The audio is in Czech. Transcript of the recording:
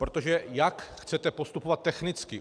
Protože jak chcete postupovat technicky?